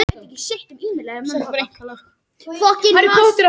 Á hausnum er feldurinn einnig með svörtum og hvítum röndum.